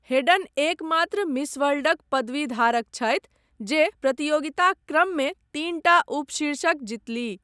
Hayden एकमात्र miss वर्ल्डक पदवी धारक छथि जे प्रतियोगिताक क्रममे तीनटा उपशीर्षक जितलीह।